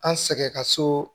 An sɛgɛn ka so